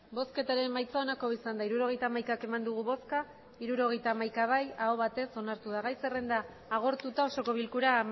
emandako botoak hirurogeita hamaika bai hirurogeita hamaika aho batez onartu da gai zerrenda amaituta osoko bilkura